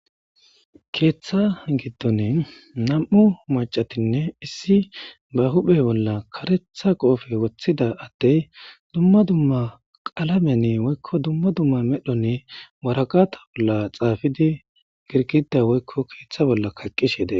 Keeththa giddon nam7u macatinne issi ba huphe bolla karetha qoofe woththida attey dumma dumma qalamenni woykko dumma dumma medhonne waraqata bolla xaafidi girkida woykko keeththa bolla kaqqishede